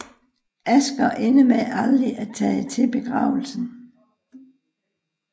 Asger ender med aldrig at tage til begravelsen